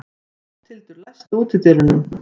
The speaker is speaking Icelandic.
Lofthildur, læstu útidyrunum.